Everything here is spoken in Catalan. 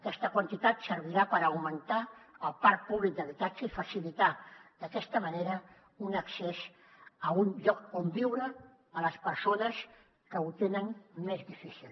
aquesta quantitat servirà per augmentar el parc públic d’habitatge i facilitar d’aquesta manera un accés a un lloc on viure les persones que ho tenen més difícil